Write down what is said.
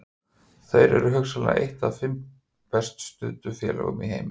Þeir eru hugsanlega eitt af fimm best studdu félögum í heimi.